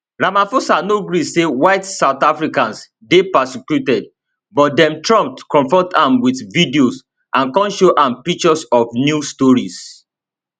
ramaphosa no gree say white south africans dey persecuted but den trump confront am wit video and kon show am pictures of news stories